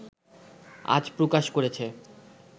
আজ প্রকাশ করেছে